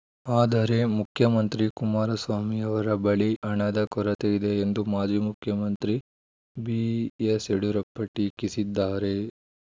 ಆದರೆ ಮುಖ್ಯಮಂತ್ರಿ ಕುಮಾರಸ್ವಾಮಿ ಅವರ ಬಳಿ ಹಣದ ಕೊರತೆ ಇದೆ ಎಂದು ಮಾಜಿ ಮುಖ್ಯಮಂತ್ರಿ ಬಿಎಸ್‌ ಯಡಿಯೂರಪ್ಪ ಟೀಕಿಸಿದ್ದಾರೆ